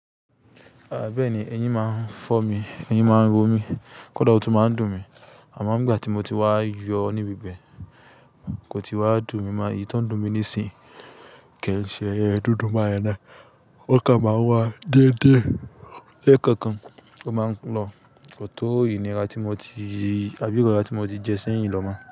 A bẹ́ẹ̀ni, eyín máa ń fọ́ mi, eyín máa ń ro mi, kódà ó tún máa ń dùn mi. Àmọ́ n gbà tí mo ti wá yọ ní bíbẹ̀, kò ti wá dùn mi mọ́. Èyí tó ń dùn mi nísìnyí kò i ṣe dúndún ba yen naá. Ó kàn máa ń wá dédé lẹ́ẹ̀kọ̀kan ó máa n lọ. Kò tó ìnira tí mo ti-- àbí irora tí mo ti jẹ sẹ́yìn lọmọ.